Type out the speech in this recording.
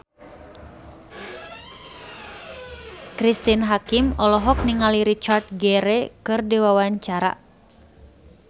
Cristine Hakim olohok ningali Richard Gere keur diwawancara